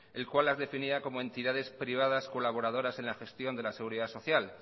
el cual las definía como entidades privadas colaboradoras en la gestión de la seguridad social